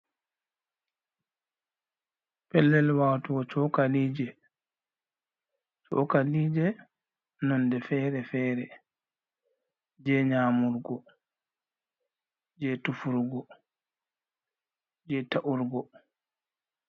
Pellel watugo chokalije, chokalije nonde fere-fere jei nyamurgo jei tufurgo jei ta’urgo.